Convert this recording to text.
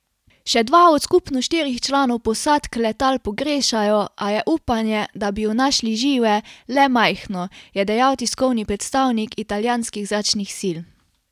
Še dva od skupno štirih članov posadk letal pogrešajo, a je upanje, da bi ju našli žive, le majhno, je dejal tiskovni predstavnik italijanskih zračnih sil.